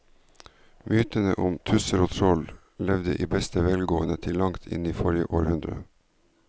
Mytene om tusser og troll levde i beste velgående til langt inn i forrige århundre.